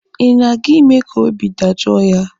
Ị na-aga ime ka obi dajoo ya?